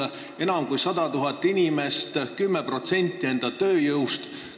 Neid on enam kui 100 000 inimest, mis tähendab 10% tööjõust.